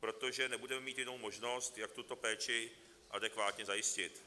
protože nebudeme mít jinou možnost, jak tuto péči adekvátně zajistit.